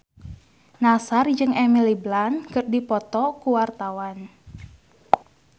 Nassar jeung Emily Blunt keur dipoto ku wartawan